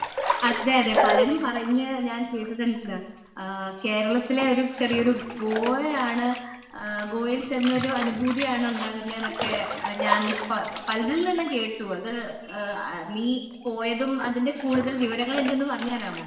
അതെ അതേ പലരും പറഞ്ഞു ഞാൻ കേട്ടിട്ടുണ്ട് കേരളത്തിലെ ചെറിയൊരു ഗോവയാണ് ഗോവയിൽ ചെന്ന ഒരു അനുഭൂതിയാണ് ഉണ്ടാകുന്നത് എന്ന് എന്നൊക്കെ ഞാൻ പലരിൽ നിന്നും കേട്ടു നീ പോയതും അതിൻ്റെ കൂടുതൽ വിവങ്ങളും എനിക്ക് ഒന്ന് പറഞ്ഞു തരാമോ